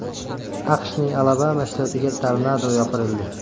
AQShning Alabama shtatiga tornado yopirildi.